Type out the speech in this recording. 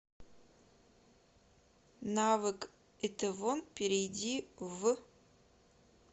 навык итэвон перейди в